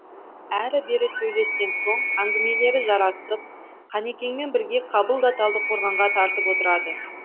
әрі бері сөйлескен соң әңгімелері жарасып қанекеңмен бірге қабыл да талдықорғанға тартып отырады